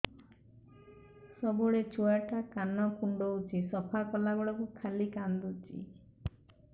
ସବୁବେଳେ ଛୁଆ ଟା କାନ କୁଣ୍ଡଉଚି ସଫା କଲା ବେଳକୁ ଖାଲି କାନ୍ଦୁଚି